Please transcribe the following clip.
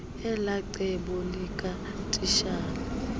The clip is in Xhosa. elaa cebo likatitshala